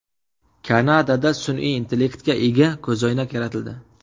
Kanadada sun’iy intellektga ega ko‘zoynak yaratildi.